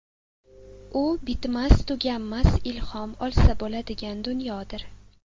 U bitmas-tuganmas ilhom olsa bo‘ladigan diyordir.